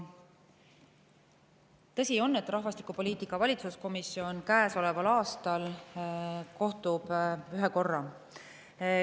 Tõsi on, et rahvastikupoliitika valitsuskomisjon kohtub käesoleval aastal ühe korra.